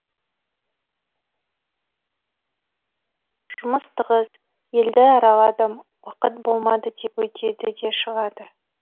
жұмыс тығыз елді араладым уақыт болмады деп өтеді де шығады